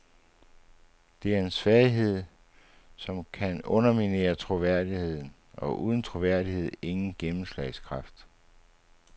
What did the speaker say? Det er en svaghed, som kan underminere troværdigheden, og uden troværdighed ingen gennemslagskraft.